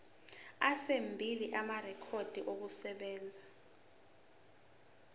ezimbili amarekhodi okusebenza